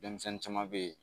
Denmisɛnnin caman bɛ yen